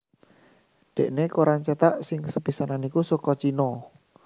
Déné koran céthak sing sepisanan iku saka Cina